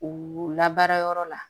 U labaara yɔrɔ la